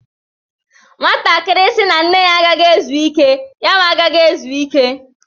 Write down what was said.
Nwatakịrị sị na nne ya agaghi ezu ike, yawa agaghị ezuike.